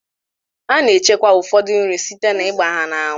A na-echekwa ụfọdụ nri site na-ịgba ha n'anwụ.